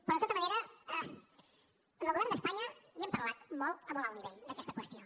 però de tota manera amb el govern d’espanya hi hem parlat molt a molt alt nivell d’aquesta qüestió